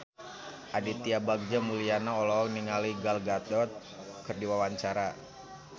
Aditya Bagja Mulyana olohok ningali Gal Gadot keur diwawancara